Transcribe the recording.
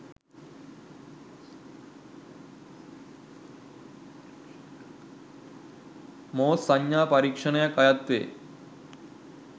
මෝස් සංඥා පරීක්‍ෂණයක් අයත් වේ